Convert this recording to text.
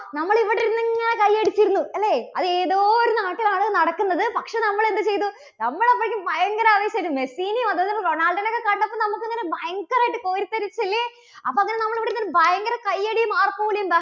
നമ്മള് ഇവിടെ ഇരുന്ന് ഇങ്ങനെ കയ്യടിച്ചിരുന്നു അല്ലേ? അത് ഏതോ ഒരു നാട്ടിൽ ആണ് നടക്കുന്നത്. പക്ഷേ നമ്മള് എന്ത് ചെയ്തു? നമ്മള് അപ്പോഴേക്കും ഭയങ്കര ആവേശം ആയിട്ട് മെസീനെ അതുപോലെ റൊണാൾഡോനെക്കെ കണ്ടപ്പോൾ നമ്മൾക്ക് ഇങ്ങനെ ഭയങ്കരായിട്ട് കോരിത്തരിച്ചു അല്ലേ? അപ്പോ അങ്ങനെ നമ്മൾ ഇവിടിരുന്ന് ഭയങ്കര കയ്യടിയും ആർപ്പുവിളിയും ന്താ